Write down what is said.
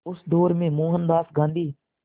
उस दौर में मोहनदास गांधी